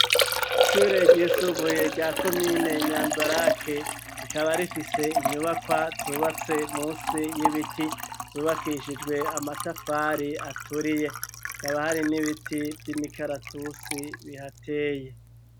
Ishure ry'isubuye rya komine nyanza rake rikaba rifise inyubakwa zubatse musi y'ibiti zubakishijwe amatafari aturiye kaba hari n'ibiti vy'imikaratusi bihateye.